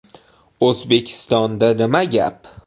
O‘zbekistonda nima gap?